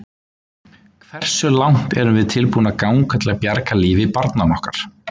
Hversu langt erum við tilbúin að ganga til að bjarga lífi barnanna okkar?